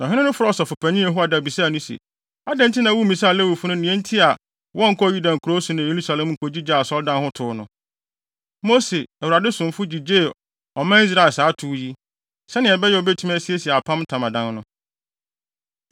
Na ɔhene no frɛɛ ɔsɔfopanyin Yehoiada bisaa no se, “Adɛn nti na wummisaa Lewifo no nea enti a wɔnkɔɔ Yuda nkurow so ne Yerusalem nkogyigyee Asɔredan ho tow no? Mose, Awurade somfo, gyigyee ɔman Israel saa tow yi, sɛnea ɛbɛyɛ a obetumi asiesie Apam Ntamadan no.”